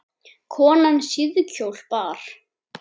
Konan síðkjól bar.